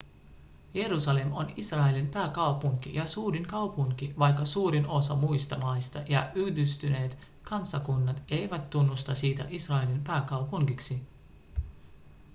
jerusalem on israelin pääkaupunki ja suurin kaupunki vaikka suurin osa muista maista ja yhdistyneet kansakunnat eivät tunnusta sitä israelin pääkaupungiksi